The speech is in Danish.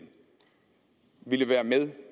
ville være med